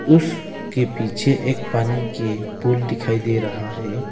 उसके पीछे एक पानी के पुल दिखाई दे रहा है।